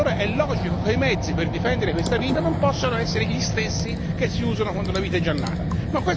E allora è logico che i mezzi per difendere questa vita non possono essere gli stessi che si usano quando la vita è già nata.